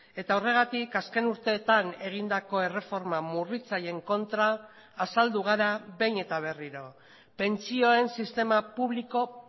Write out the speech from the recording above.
eta horregatik azken urteetan egindako erreforma murritzaileen kontra azaldugara behin eta berriro pentsioen sistema publiko